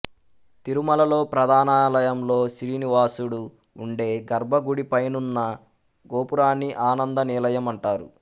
తిరుమలలో ప్రధానాలయంలో శ్రీనివాసుడు ఉండే గర్భగుడి పైనున్న గోపురాన్ని ఆనంద నిలయం అంటారు